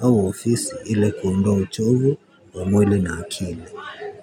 au ofisi ili kuondowa uchovu wa mwili na akili. Kwa hivyo.